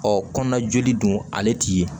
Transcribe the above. Ɔ kɔnɔna joli don ale ti ye